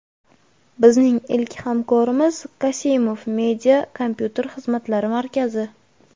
Bizning ilk hamkorimiz "Kasimoof media" kompyuter xizmatlari markazi.